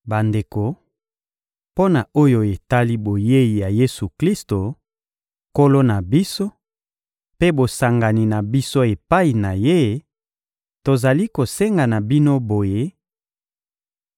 Bandeko, mpo na oyo etali boyei ya Yesu-Klisto, Nkolo na biso, mpe bosangani na biso epai na Ye, tozali kosenga na bino boye: